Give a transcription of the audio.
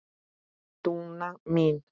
Dúna mín.